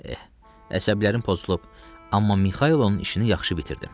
Eh, əsəblərim pozulub, amma Mixail onun işini yaxşı bitirdim.